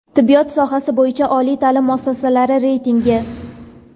Tibbiyot sohasi bo‘yicha oliy taʼlim muassasalari reytingi.